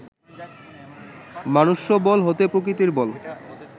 মনুষ্যবল হইতে প্রাকৃতিক বল